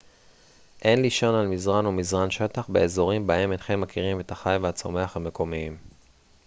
אין לישון על מזרן או מזרן שטח באזורים בהם אינכם מכירים את החי והצומח המקומיים